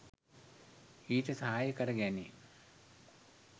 ඊට සහාය කර ගැනේ.